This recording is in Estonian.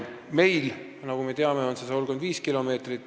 Meil, nagu me teame, on piir 135 kilomeetrit.